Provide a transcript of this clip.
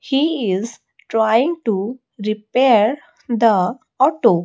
he is trying to repair the auto.